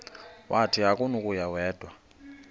wathi akunakuya wedw